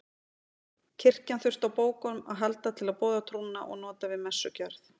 Kirkjan þurfti á bókum að halda til að boða trúna og nota við messugjörð.